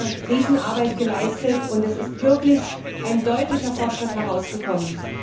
Sie haben eine Riesenarbeit geleistet, und es ist wirklich ein deutlicher Fortschritt herausgekommen.